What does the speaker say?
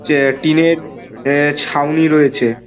এ টিনের ছাউনি রয়েছে।